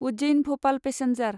Ujjain Bhopal passenger